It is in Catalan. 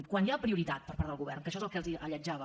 quan hi ha prioritat per part del govern que això és el que els alletjava